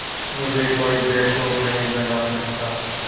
मुझे कोई बेवकूफ़ नहीं बना सकता